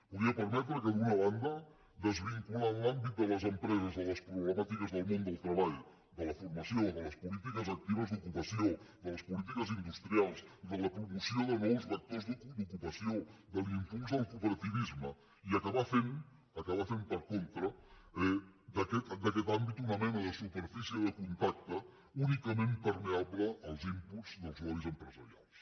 podria permetre d’una banda desvincular l’àmbit de les empreses de les problemàtiques del món del treball de la formació de les polítiques actives d’ocupació de les polítiques industrials de la promoció de nous vectors d’ocupació de l’impuls del cooperativisme i acabar fent acabar fent per contra d’aquest àmbit una mena de superfície de contacte únicament permeable als inputs dels lobbys empresarials